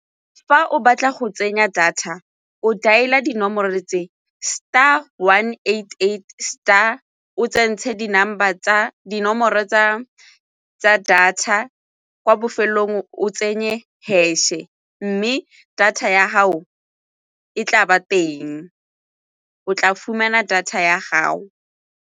Fa o batla go tsenya data o dialer dinomoro le tse, star one eight eight star o tsentshe dinomoro tsa data kwa bofelelong o tsenye hash-e mme data ya gao e tla ba teng o tla fumana data ya gago.